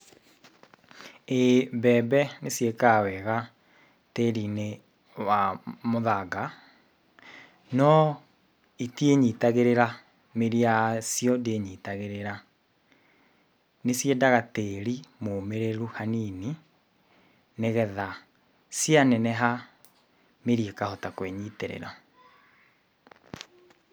ĩĩ mbembe nĩ ciĩkaga wega tĩri-inĩ wa mũthanga, no itiĩnyitagĩrĩra, mĩri yacio ndĩnyitagĩrĩra. Nĩ ciendaga tĩri mũmĩrĩru hanini, nĩgetha cianeneha, mĩri ĩkahota kwĩnyitĩrĩra